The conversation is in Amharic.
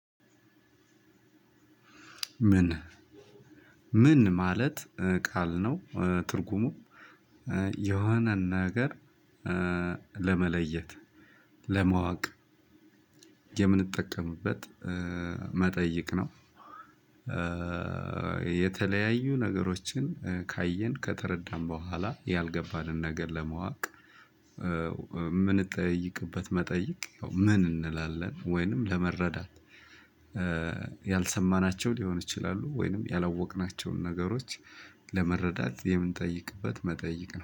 ምን ምን ማለት ቃል ነው? ትርጉሙ የሆነን ነገር ለመለየት ለማወቅ የምንጠቀምበት መጠይቅ ነው። የተለያዩ ነገሮችን ካየን ከተረዳን በኋላ ያልገባንን ነገር ለማወቅ የምንጠይቅበት መጠየቅ ምን እንላለን። ወይንም ለመረዳት ያልሰማናቸው ሊሆኑ ይችላሉ ወይንም ያላወቅናቸውን ነገሮች ለመረዳት የምንጠይቅበት መጠይቅ ነው